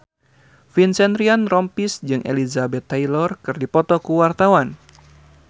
Vincent Ryan Rompies jeung Elizabeth Taylor keur dipoto ku wartawan